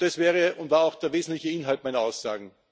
Das wäre und war auch der wesentliche Inhalt meiner Aussagen.